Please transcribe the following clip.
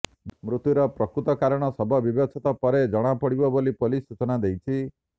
ମୃତ୍ୟୁର ପ୍ରକୃତ କାରଣ ଶବ ବ୍ୟବଚ୍ଛେଦ ପରେ ଜଣାପଡ଼ିବ ବୋଲି ପୋଲିସ ସୂଚନା ଦେଇଛି